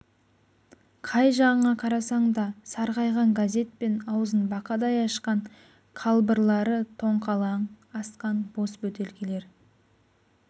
қай жағыңа қарасаң да сарғайған газет пен аузын бақадай ашқан қалбырлары тоңқалаң асқан бос бөтелкелер